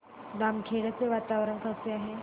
बामखेडा चे वातावरण कसे आहे